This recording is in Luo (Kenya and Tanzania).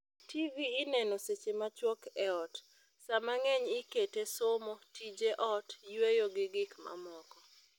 Tv ineno seche macwok e ot saa mang'eny ikete somo, tije ot, yueyo gi gik mamoko